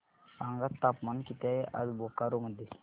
सांगा तापमान किती आहे आज बोकारो मध्ये